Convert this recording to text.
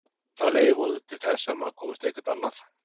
Það leiðir vonandi til þess að maður komist eitthvert annað.